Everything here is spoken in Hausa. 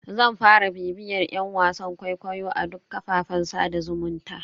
Zan fara bibiyar yan wasan kwaikwayo a duk kafafen sada zumunta.